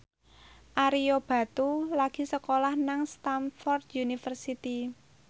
Ario Batu lagi sekolah nang Stamford University